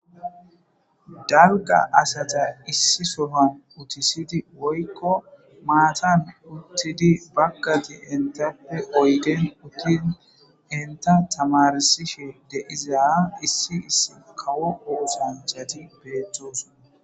Dagga asata issi soman utisidi woykko maatan uttidi baggati entappe oygen uttid enta tamarsishe de izaa issi iss kawo oosanchati beettos.